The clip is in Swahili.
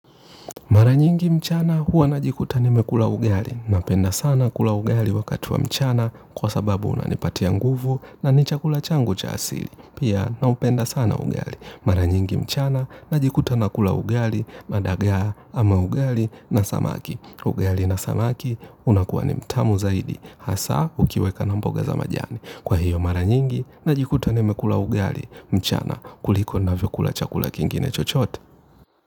Mara nyingi mchana huwa najikuta nimekula ugali. Napenda sana kula ugali wakati wa mchana kwa sababu unanipatia nguvu na ni chakula changu cha asili. Pia naupenda sana ugali. Mara nyingi mchana najikuta nakula ugali, madagaa ama ugali na samaki. Ugali na samaki unakuwa ni mtamu zaidi. Hasa ukiweka na mboga za majani. Kwa hiyo mara nyingi najikuta nimekula ugali mchana kuliko navyokula chakula kingine chochote.